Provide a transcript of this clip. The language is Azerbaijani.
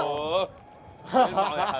Yallah!